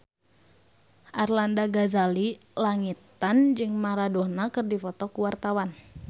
Arlanda Ghazali Langitan jeung Maradona keur dipoto ku wartawan